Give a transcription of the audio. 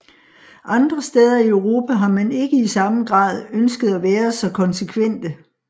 Andre steder i Europa har man ikke i sammen grad ønsket at være så konsekvente